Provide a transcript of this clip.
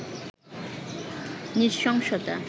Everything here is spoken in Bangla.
নৃশংসতা